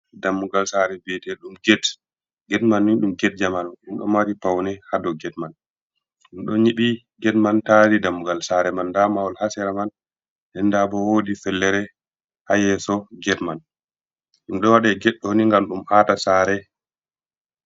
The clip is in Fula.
Dammugal sare biete ɗum get, get man ni ɗum get jamanu ɗum ɗo mari paune ha dou get man, ɗum ɗo nyiɓi get man tari dammugal sare man, nda mahol ha sera man, den nda bo wodi fellere ha yeso get man, ɗum ɗo waɗe ged ɗo ni ngam ɗum aata sare.